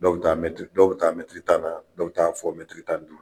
Dɔw bɛ taa dɔw bɛ taa tan na dɔw bɛ taa fɔ tan ni duuru